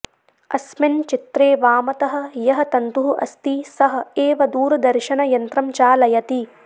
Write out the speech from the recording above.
अस्मिन् चित्रे वामतः यः तन्तुः अस्ति सः एव दूरदर्शनयन्त्रं चालयति